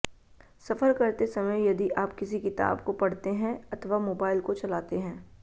सफर करते समय यदि आप किसी किताब को पढ़ते हैं अथवा मोबाइल को चलाते हैं